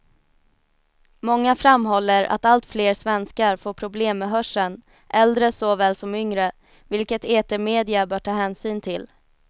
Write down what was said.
Många framhåller att allt fler svenskar får problem med hörseln, äldre såväl som yngre, vilket etermedia bör ta hänsyn till.